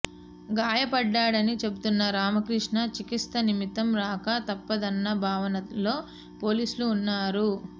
గాయపడ్డాడని చెబుతున్న రామకృష్ణ చికిత్స నిమిత్తం రాక తప్పదన్న భావనలో పోలీసులు ఉన్నారు